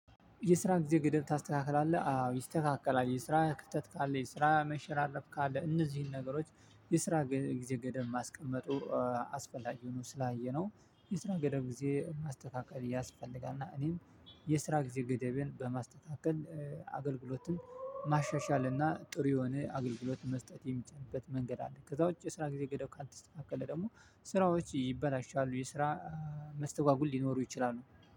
የስራ ጊዜ ገደብ ታስተካክላለህ? አዎ ይስተካከላል። የስራ ክፍተት ካለ የስራ መሸር አለፍ ካለ እነዚህን ነገሮች የስራ ጊዜ ገደብ ማስቀመጡ። አስፈላጊ ሆኖ ስላየነው የስራ ገደብ ጊዜ ማስተካከል ያስፈልጋል። እና እኔም የስራ ጊዜ ገደቤን በማስተካከል አገልግሎትን ማሻሻል እና ጥሩ የሆነ አገልግሎት መስጠት የሚቻልበት መንገድ አለ። ከዛ ውጪ የስራ ጊዜ ገደብ ካልተስተካከለ ደግሞ ስራዎች ይበላሻሉ። የስራ መስተጓጎል ሊኖሩ ይችላሉ።